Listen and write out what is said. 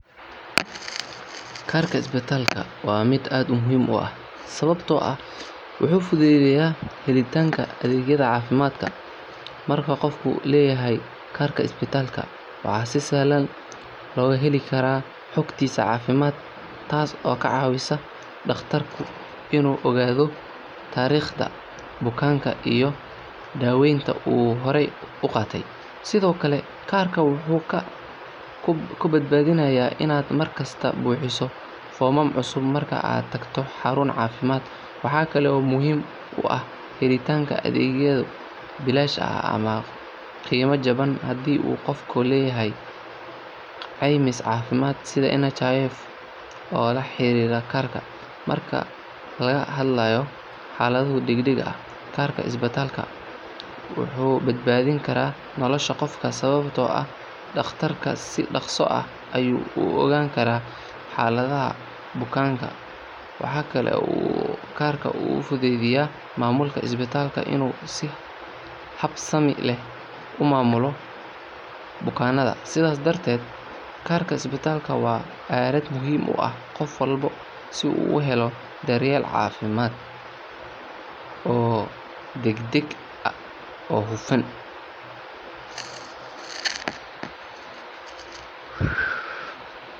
Kaarka isbitaalka waa mid aad u muhiim ah sababtoo ah wuxuu fududeeyaa helitaanka adeegyada caafimaad. Marka qofku leeyahay kaarka isbitaalka, waxaa si sahlan looga heli karaa xogtiisa caafimaad taas oo ka caawisa dhaqtarka inuu ogaado taariikhda bukaanka iyo daaweynta uu hore u qaatay. Sidoo kale, kaarka wuxuu kaa badbaadinayaa inaad mar kasta buuxiso foomam cusub marka aad tagto xarun caafimaad. Waxaa kale oo muhiim u ah helitaanka adeegyo bilaash ah ama qiimo jaban haddii uu qofku leeyahay caymis caafimaad sida NHIF oo la xiriira kaarka. Marka laga hadlayo xaaladaha degdegga ah, kaarka isbitaalka wuxuu badbaadin karaa nolosha qofka sababtoo ah dhaqtarka si dhaqso ah ayuu u ogaan karaa xaaladda bukaanka. Waxa kale oo uu kaarka u fududeeyaa maamulka isbitaalka inuu si habsami leh u maamulo bukaannada. Sidaas darteed, kaarka isbitaalka waa aalad muhiim u ah qof walba si uu u helo daryeel caafimaad oo degdeg ah oo hufan.